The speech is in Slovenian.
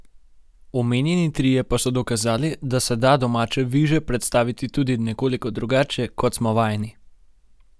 Omenjeni trije pa so dokazali, da se da domače viže predstaviti tudi nekoliko drugače, kot smo vajeni.